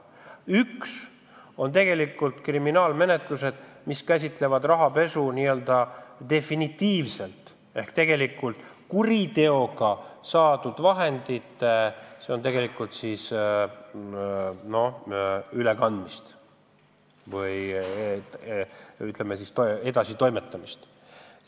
Üks liik on kriminaalmenetlused, kus käsitletakse n-ö definitiivselt rahapesu ehk kuritegelikult saadud vahendite ülekandmist või, ütleme siis, edasitoimetamist.